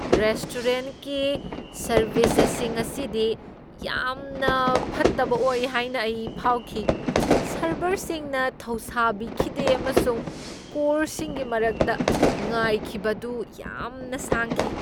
ꯔꯦꯁꯇꯣꯔꯦꯟꯠꯒꯤ service ꯑꯁꯤ ꯉꯁꯤꯗꯤ ꯌꯥꯝꯅ ꯐꯠꯇꯕ ꯑꯣꯏ ꯍꯥꯏꯅ ꯑꯩ ꯐꯥꯎꯈꯤ꯫ ꯁꯔꯚꯔꯁꯤꯡꯅ ꯊꯧꯁꯥꯕꯤꯈꯤꯗꯦ ꯑꯃꯁꯨꯡ ꯀꯣꯔꯁꯁꯤꯡꯒꯤ ꯃꯔꯛꯇ ꯉꯥꯏꯈꯤꯕ ꯑꯗꯨ ꯌꯥꯝꯅ ꯁꯥꯡꯈꯤ꯫